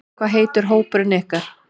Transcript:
Hvað heitir hópurinn ykkar?